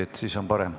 Jah, niimoodi on parem.